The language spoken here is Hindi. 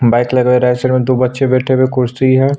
बाइक लगा हुआ है सालों में दो बच्चे बैठे है और दो कुर्सी है।